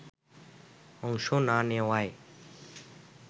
অংশ না নেওয়ায়